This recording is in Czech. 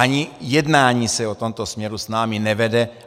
Ani jednání se o tomto směru s námi nevede.